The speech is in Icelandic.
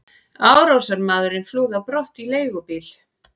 Árásarmaðurinn flúði á brott í leigubíl.